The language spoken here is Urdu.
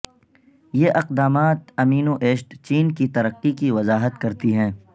یہ اقدامات امینو ایسڈ چین کی ترقی کی وضاحت کرتی ہیں